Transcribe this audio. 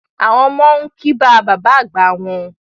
Àwọn ọmọ n kì bá bàbá àgbá wọn